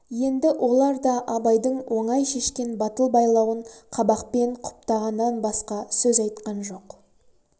енді олар да абайдың оңай шешкен батыл байлауын қабақпен құптағаннан басқа сөз айтқан жоқ